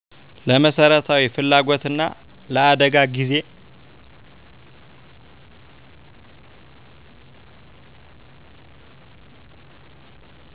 ለመሠረታዊ ፍላጎትና ለአደጋ ጊዜ